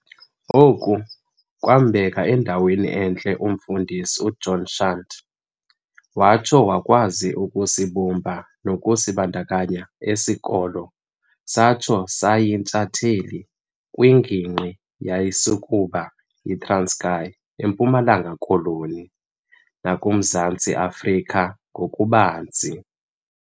Oku kwaambeka endaweni entle umfundisi uJohn shand watsho wakwazi ukusibumba nokusibundukunya esi sikolo satho sayintshatheli kwingingqi eyayisakuba yiTranskei, eMpumalanga-koloni, nakuMzantsi Afrika ngokubanzi.